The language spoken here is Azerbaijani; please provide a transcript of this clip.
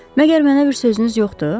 Məgər mənə bir sözünüz yoxdur?